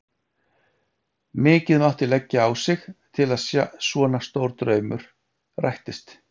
Mikið mátti leggja á sig til að svona stór draumur rættist.